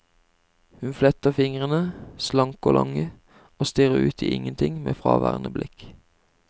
Hun fletter fingrene, slanke og lange, og stirrer ut i ingenting med fraværende blikk.